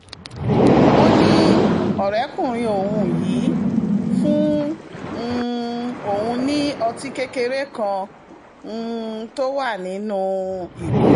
ó ní ọ̀rẹ́kùnrin òun yìí fún um òun ní ọtí kékeré kan um tó wà nínú ìgò